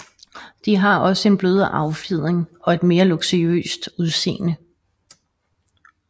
De har også en blødere affjedring og et mere luksuriøst udseende